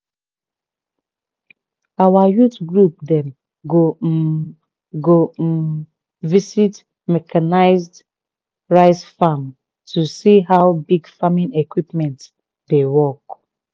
our youth group dem go um go um visit mechanised rice farm to see how big farming equipment dey work